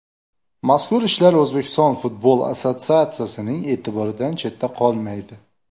Mazkur ishlar O‘zbekiston futbol assotsiatsiyasining e’tiboridan chetda qolmaydi.